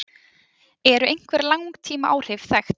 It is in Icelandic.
Eru einhver langtímaáhrif þekkt?